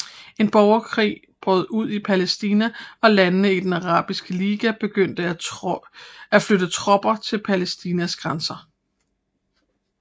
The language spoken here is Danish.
En borgerkrig brød ud i Palæstina og landene i den Arabiske Liga begyndte at flytte tropper til Palæstinas grænser